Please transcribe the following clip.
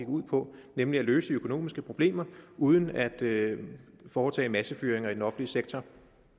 ud på nemlig at løse de økonomiske problemer uden at foretage massefyringer i den offentlige sektor